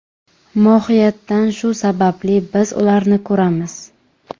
Mohiyatan shu sababli biz ularni ko‘ramiz.